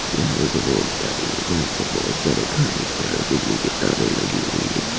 यहां एक रोड जा रही है जहां पर बहुत सारे घर दिख रहा है बिजली की तारे लगी हुई है।